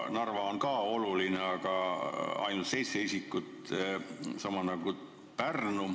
Narva on ka oluline, aga sealses haiglas on ainult seitse sellist isikut, sama palju nagu Pärnus.